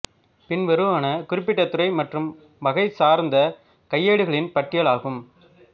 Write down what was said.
பின்வருவன குறிப்பிட்ட துறை மற்றும் வகை சார்ந்த கையேடுகளின் பட்டியல் ஆகும்